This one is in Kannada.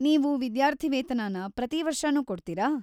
ನೀವು ವಿದ್ಯಾರ್ಥಿವೇತನನ ಪ್ರತೀ ವರ್ಷನೂ ಕೊಡ್ತೀರಾ?